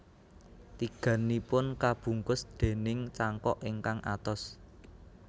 Tigannipun kabungkus déning cangkok ingkang atos